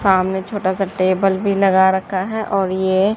सामने छोटा सा टेबल भी लगा रखा है और ये--